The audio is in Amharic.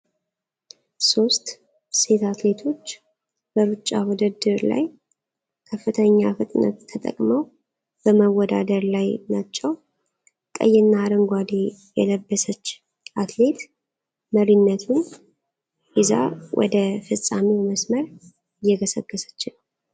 ሦስት ሴት አትሌቶች በሩጫ ውድድር ላይ ከፍተኛ ፍጥነት ተጠቅመው በመወዳደር ላይ ናቸው። ቀይና አረንጓዴ የለበሰችው አትሌት መሪነቱን ይዛ ወደ ፍጻሜው መስመር እየገሰገሰች ነው።